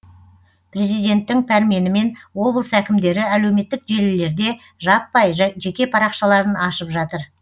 президенттің пәрменімен облыс әкімдері әлеуметтік желілерде жаппай жеке парақшаларын ашып жатыр